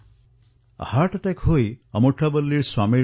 তেওঁৰ বাবেও আয়ুষ্মান ভাৰত যোজনা সংকটমোচন হিচাপে বিবেচিত হল